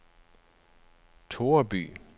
Toreby